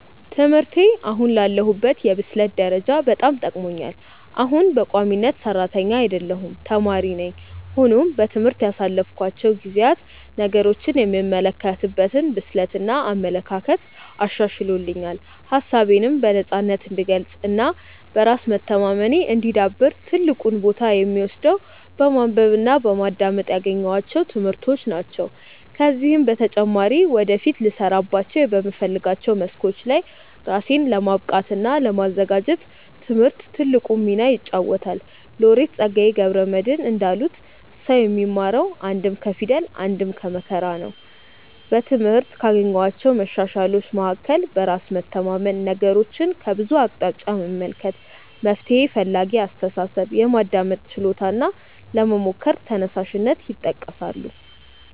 ትምህርቴ አሁን ላለሁበት የብስለት ደረጃ በጣም ጠቅሞኛል። አሁንም በቋሚነት ሰራተኛ አይደለሁም ተማሪ ነኝ። ሆኖም በትምህርት ያሳለፍኳቸው ጊዜያት ነገሮችን የምመለከትበትን ብስለት እና አመለካከት አሻሽሎልኛል። ሀሳቤነም በነፃነት እንድገልፅ እና በራስ መተማመኔ እንዲዳብር ትልቁን ቦታ የሚወስደው በማንበብ እና በማዳመጥ ያገኘኋቸው ትምህርቶች ናቸው። ከዚህም በተጨማሪ ወደፊት ልሰራባቸው በምፈልጋቸው መስኮች ላይ ራሴን ለማብቃት እና ለማዘጋጀት ትምህርት ትልቁን ሚና ይጫወታል። ሎሬት ፀጋዬ ገብረ መድህን እንዳሉት "ሰው የሚማረው አንድም ከፊደል አንድም ከመከራ ነው"።በትምህርት ካገኘኋቸው መሻሻሎች መካከል በራስ መተማመን፣ ነገሮችን ከብዙ አቅጣጫ መመልከት፣ መፍትሔ ፈላጊ አስተሳሰብ፣ የማዳመጥ ችሎታ እና ለመሞከር ተነሳሽነት ይጠቀሳሉ።